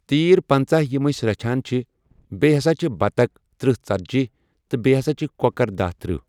تیٖر پَنٛژاہ یِم أسۍ رَچھان چھِ بیٚیہِ ہسا چھِ بَطخ ترٕٛہ ژَتجِی تہٕ بیٚیہِ ہسا چھِ کوکر دہ ترٕٛہ۔